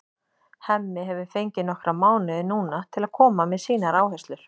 Hemmi hefur fengið nokkra mánuði núna til að koma með sínar áherslur.